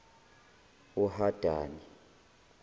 uhadani